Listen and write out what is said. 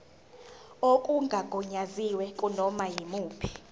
okungagunyaziwe kunoma yimuphi